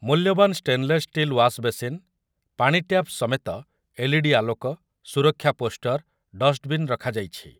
ମୂଲ୍ୟବାନ stainless steel wash basin, ପାଣିଟ୍ୟାପ୍ ସମେତ ଏଲ୍ଇଡି ଆଲୋକ, ସୁରକ୍ଷା ପୋଷ୍ଟର, ଡଷ୍ଟବିନ୍‌ ରଖାଯାଇଛି ।